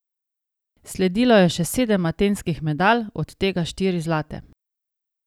Sledilo je še sedem atenskih medalj, od tega štiri zlate.